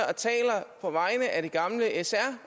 og vegne af den gamle sr